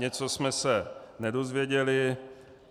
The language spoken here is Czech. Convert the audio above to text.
Něco jsme se nedozvěděli.